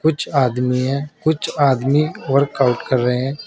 कुछ आदमी है कुछ आदमी वर्कआउट कर रहे हैं।